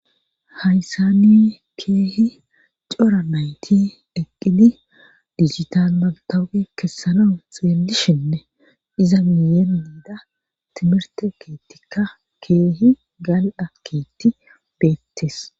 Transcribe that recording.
hayssani keehi cora mayti deqqidi dijitan mantawuge kessano xeellishinne iza miyeenmiida timirte keettikka keehi gal7a keetti beettes